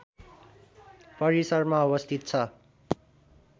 परिसरमा अवस्थित छ